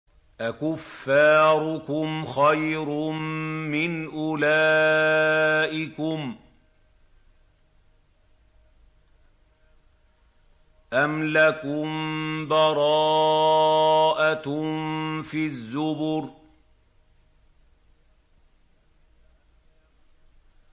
أَكُفَّارُكُمْ خَيْرٌ مِّنْ أُولَٰئِكُمْ أَمْ لَكُم بَرَاءَةٌ فِي الزُّبُرِ